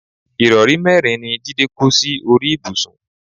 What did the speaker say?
ìrọrí mẹ́rin ni Jídé kó sí orí ibùsùn